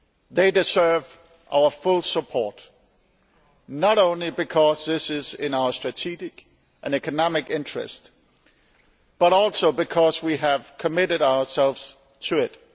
They deserve our full support, not only because this is in our strategic and economic interest, but also because we have committed ourselves to it.